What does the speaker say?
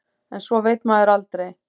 En svo veit maður aldrei.